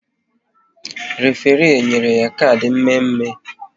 Référé e nyere ya kard mme mme?